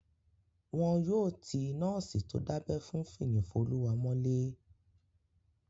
Wọn yóò ti nọ́ọ̀sì tó dábẹ́ fún Fiyinfoluwa mọ́lé